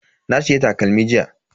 Na siya takalmi jiya.